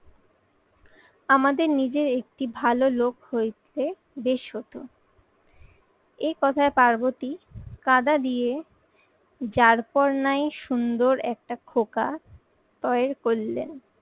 আমাদের নিজের একটি ভালো লোক হয়েছে বেশ হত একথায় পার্বতী কাদা দিয়ে যারপর নাই সুন্দর একটা খোকা তয়ের করলেন।